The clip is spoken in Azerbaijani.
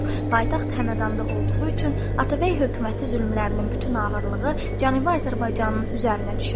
Paytaxt Həmədanda olduğu üçün Atabəy hökuməti zülmlərinin bütün ağırlığı Cənubi Azərbaycanın üzərinə düşür.